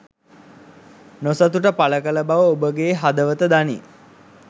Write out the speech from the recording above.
නොසතුට පලකල බව ඔබගේ හදවත දනී